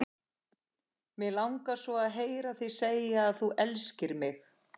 Mig langar svo að heyra þig segja að þú elskir mig!